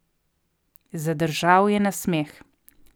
Zadržal je nasmeh.